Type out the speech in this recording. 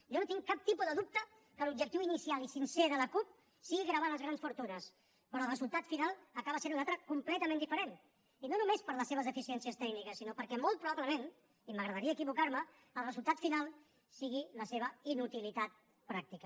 jo no tinc cap tipus de dubte que l’objectiu inicial i sincer de la cup sigui gravar les grans fortunes però el resultat final acaba sent un altre de completament diferent i no només per les seves deficiències tècniques sinó perquè molt probablement i m’agradaria equivocar me el resultat final sigui la seva inutilitat pràctica